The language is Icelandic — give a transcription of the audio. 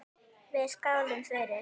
Við skálum fyrir